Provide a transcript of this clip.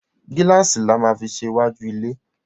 Gíláàsì la má fí ṣe iwájú lẹ.